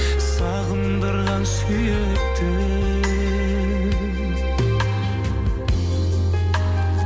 сағындырған сүйіктім